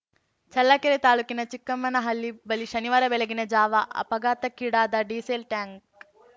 ಚಳ್ಳಕೆರೆ ತಾಲೂಕಿನ ಚಿಕ್ಕಮ್ಮನಹಳ್ಳಿ ಬಳಿ ಶನಿವಾರ ಬೆಳಗಿನ ಜಾವ ಅಪಘಾತಕೀಡಾದ ಡಿಸೇಲ್‌ ಟ್ಯಾಂಕ್